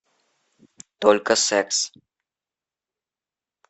только секс